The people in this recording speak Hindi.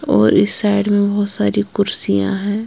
और इस साइड में बहोत सारी कुर्सियां है।